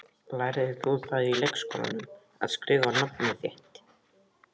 Lærðir þú það í leikskólanum, að skrifa nafnið þitt?